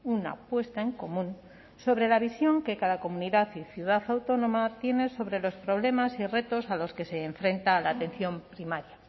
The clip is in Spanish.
una puesta en común sobre la visión que cada comunidad y ciudad autónoma tiene sobre los problemas y retos a los que se enfrenta la atención primaria